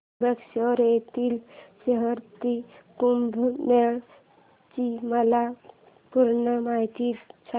त्र्यंबकेश्वर येथील सिंहस्थ कुंभमेळा ची मला पूर्ण माहिती सांग